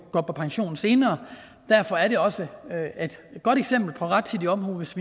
går på pension senere derfor er det også et godt eksempel på rettidig omhu hvis